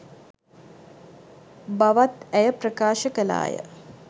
බවත් ඇය ප්‍රකාශ කළා ය.